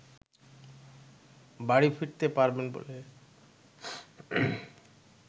বাড়ি ফিরতে পারবেন বলে